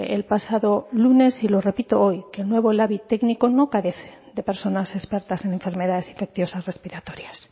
el pasado lunes y lo repito hoy que el nuevo labi técnico no carece de personas expertas en enfermedades infecciosas respiratorias